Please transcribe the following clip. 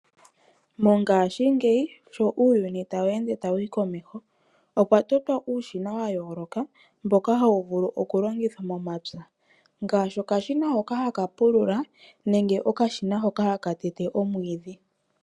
Mongaashingeyi sho uuyuni tawu ende ta wuyi komeho. Opwa totwa uushina wa yooloka mboka hawu vulu oku longithwa momapya ngaashi okashina hoka haka pulula nenge okashina hoka haka tete omwiidhi.